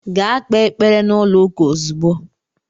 Gaa kpee ekpere n'ụlọ ụka ozugbo!